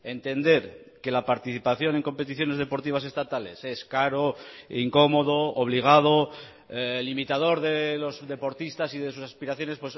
entender que la participación en competiciones deportivas estatales es caro incómodo obligado limitador de los deportistas y de sus aspiraciones